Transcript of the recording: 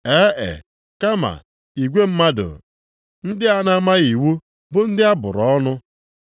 E e! Kama igwe mmadụ ndị a na-amaghị iwu bụ ndị a bụrụ ọnụ.”